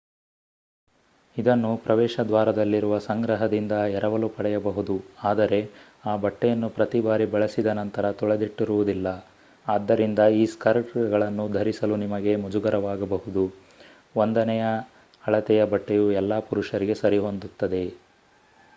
ಇದನ್ನು ಪ್ರವೇಶದ್ವಾರದಲ್ಲಿರುವ ಸಂಗ್ರಹದಿಂದ ಎರವಲು ಪಡೆಯಬಹುದು ಆದರೆ ಆ ಬಟ್ಟೆಯನ್ನು ಪ್ರತಿ ಬಾರಿ ಬಳಸಿದ ನಂತರ ತೊಳೆದಿಟ್ಟಿರುವುದಿಲ್ಲ ಆದ್ದರಿಂದ ಈ ಸ್ಕರ್ಟ್‌ಗಳನ್ನು ಧರಿಸಲು ನಿಮಗೆ ಮುಜುಗರವಾಗಬಹುದು. ಒಂದನೆಯ ಅಳತೆಯ ಬಟ್ಟೆಯು ಎಲ್ಲಾ ಪುರುಷರಿಗೆ ಸರಿಹೊಂದುತ್ತದೆ!